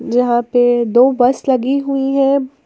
जहां पे दो बस लगी हुई है।